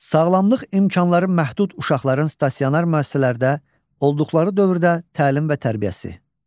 Sağlamlıq imkanları məhdud uşaqların stasionar müəssisələrdə olduqları dövrdə təlim və tərbiyəsi.